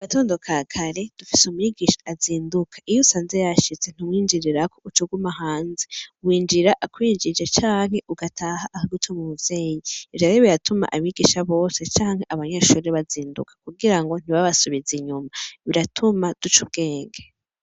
Agatondo kakare, dufise umwigisha azinduka iyo usanze yashitse ntumwinjirirako ucuguma hanze ,winjira akwijie canke ugataha akagutuma umuvyeyi ivyo rero biratuma abigisha bose canke abanyeshuri, bazinduka kugira ngo ntibabasubize inyuma biratuma duc ubwenge.